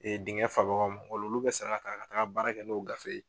Ee dingɛn fa bagaw ma ola olu be sara ka taa baara kɛ n'o gafe ye